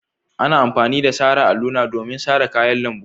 Ana amfani da sara alluna domin sara kayan lambu.